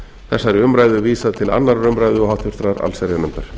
þessari umræðu vísað til annarrar umræðu og háttvirtrar allsherjarnefndar